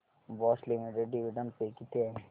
Bosch limited dividend pay किती आहे